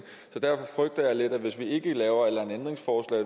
derfor frygter jeg lidt at hvis vi ikke laver at